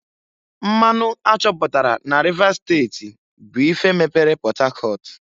Mmanụ a chọpụtara n'Rivers steti bụ ife mepere Port Harcourt.